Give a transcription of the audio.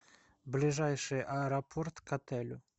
ближайший аэропорт к отелю